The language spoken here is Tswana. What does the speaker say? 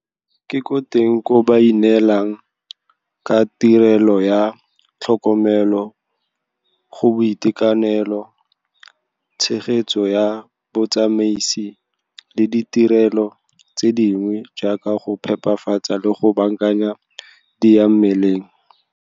Ke teng koo ba neelanang ka tirelo ya tlhokomelo go boitekanelo, tshegetso ya botsamaisi le ditirelo tse dingwe jaaka go phepafatsa le go baakanya diyamaleng.